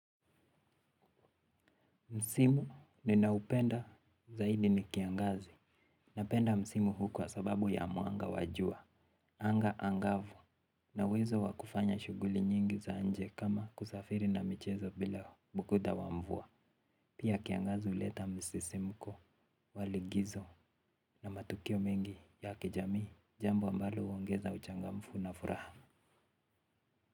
Msimu ninaupenda zaidi ni kiangazi. Napenda msimu hu kwa sababu ya muanga wa jua. Anga angavu na uwezo wakufanya shuguli nyingi za nje kama kusafiri na michezo bila bukuda wa mvua. Pia kiangazi uleta msisimuko wa ligizo na matukio mengi ya kijami. Jambo ambalo uongeza uchangamfu na furaha.